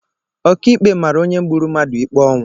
Ọkàikpe mara onye gburu mmadụ ikpe ọnwụ.